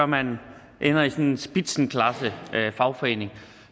man ender som sådan en spitzenklassefagforening